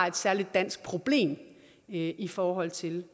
et særligt dansk problem i i forhold til